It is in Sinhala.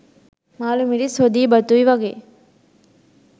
මාළු මිරිස් හොදියි බතුයි වගේ